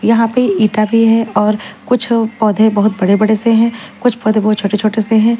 यहां पे ईटा भी है और कुछ पौधे बहुत बड़े-बड़े से हैं कुछ पौधे बहुत छोटे-छोटे से हैं।